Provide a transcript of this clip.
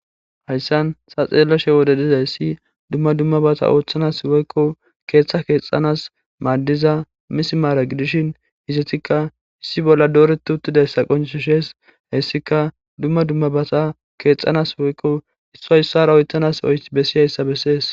Hays San sa xeelloshe wode dizayssi dumma dummabata ooththanas woykko keeththa keexanas maaddiza misimaara gidishin hizetikka issi bolla dooretu uttidayssa qoncisu shees hyssika dumma dummabasa keexxanas woykko isso issara oytanas y bessi ayssa bessees.